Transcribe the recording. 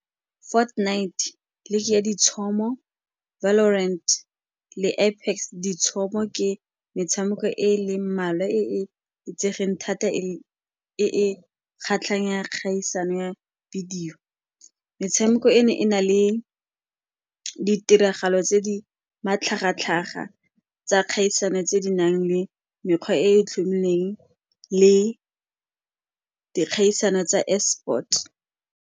Night ke metshameko e e leng mmalwa e e itsegeng thata e e kgaisano ya videyo. Metshameko eno e na le ditiragalo tse di matlhagatlhaga tsa kgaisano tse di nang le mekgwa e e tlhomilweng le dikgaisano tsa e-sport.